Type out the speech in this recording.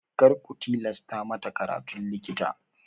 Kar ku tilasta mata karatun likita!